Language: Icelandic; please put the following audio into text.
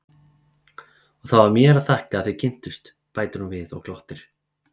Og það var mér að þakka að þið kynntust, bætir hún við og glottir.